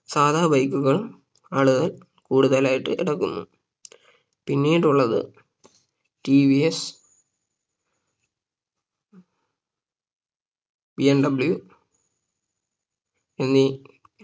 സാധാ bike കളും ആളുകൾ കൂടുതലായിട്ട് എടുക്കുന്നു പിന്നീട് ഉള്ളത് ടി വി എസ് BMW എന്നീ